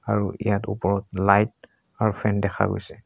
আৰু ইয়াত ওপৰত লাইট আৰু ফেন দেখা গৈছে।